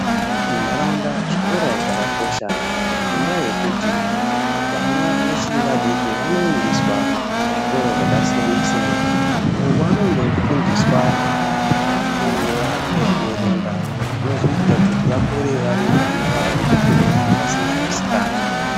Mundaraunda zvikora zvakakosha ngenda yekuti vana vachiri vadiki vaboendeswa kuzvikora zvakasiyana siyana uko kwavanenge veifundiswa kunyora nekuverenga Zvinozoitabkuti vakure vari vana vasina misikanzwa.